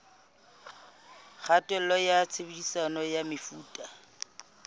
kgatello ya tshebediso ya mefuta